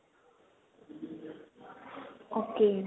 ok